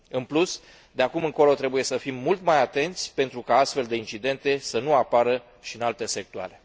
În plus, de acum încolo trebuie să fim mult mai atenți pentru ca astfel de incidente să nu apară și în alte sectoare.